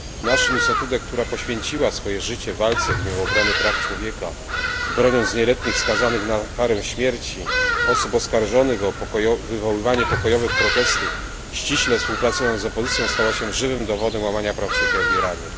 Nasrin Sotudeh, która poświęciła swoje życie walce w imię obrony praw człowieka, broniąc nieletnich skazanych na karę śmierci, osób oskarżonych o wywoływanie pokojowych protestów, ściśle współpracując z opozycją, stała się żywym dowodem łamania praw człowieka w Iranie.